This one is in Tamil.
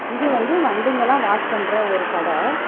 இது வந்து வண்டிங்கலா வாஷ் பண்ற ஒரு கட.